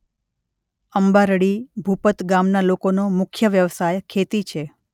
અંબારડી ભુપત ગામના લોકોનો મુખ્ય વ્યવસાય ખેતી છે.